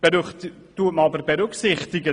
Doch ich gebe zu bedenken: